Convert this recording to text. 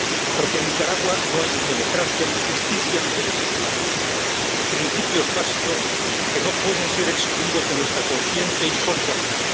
Porque en Nicaragua no hay ni democracia, ni justicia, ni derechos humanos, principios básicos que no pueden ser excluidos de nuestra conciencia y solidaridad.